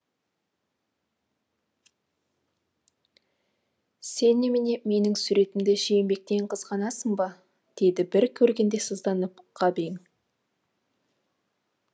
сен немене менің суретімді жиенбектен қызғанасың ба деді бір көргенде сызданып ғабең